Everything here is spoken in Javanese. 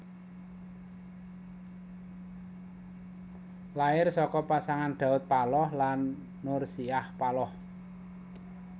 Lair saka pasangan Daud Paloh lan Nursiah Paloh